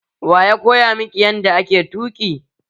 Waya koya miki yanda ake tuki?